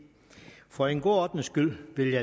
for god ordens skyld